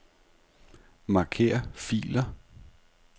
Marker filer.